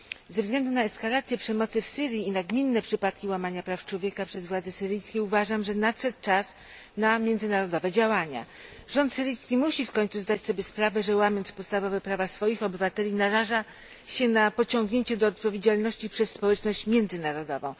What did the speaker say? Ze względu na eskalację przemocy w Syrii i nagminne przypadki łamania praw człowieka przez władze syryjskie uważam, że nadszedł czas na międzynarodowe działania. Rząd syryjski musi w końcu zdać sobie sprawę, że, łamiąc podstawowe prawa swoich obywateli, naraża się na pociągnięcie do odpowiedzialności przez społeczność międzynarodową.